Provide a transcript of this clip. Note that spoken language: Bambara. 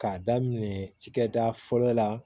K'a daminɛ cikɛda fɔlɔ la